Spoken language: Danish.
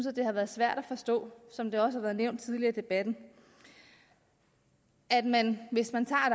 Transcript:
at det har været svært at forstå som det også har været nævnt tidligere i debatten at man hvis man tager